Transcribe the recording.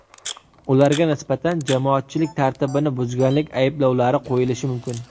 Ularga nisbatan jamoatchilik tartibini buzganlik ayblovlari qo‘yilishi mumkin.